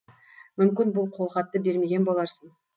мүмкін бұл қолхатты бермеген боларсың